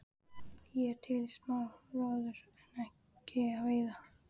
Ég er til í smá róður en ekki að veiða.